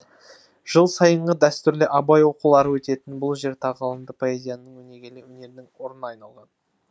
жыл сайынғы дәстүрлі абай оқулары өтетін бұл жер тағылымды поэзияның өнегелі өнердің орнына айналған